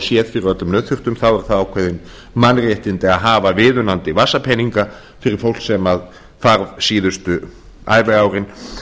fái séð fyrir öllum nauðþurftum þá eru það ákveðin mannréttindi að hafa viðunandi vasapeninga fyrir fólk sem þarf síðustu æviárin